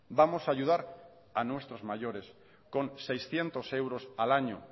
vamos a ayudar a nuestros mayores con seiscientos euros al año